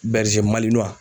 Bɛrize malinuwa